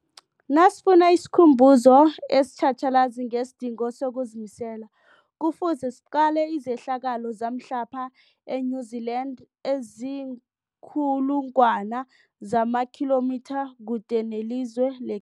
Nasifuna isikhumbuzo esitjhatjhalazi ngesidingo sokuzimisela, Kufuze siqale izehlakalo zamhlapha e-New Zealand eziinkulu ngwana zamakhilomitha kude nelizwe le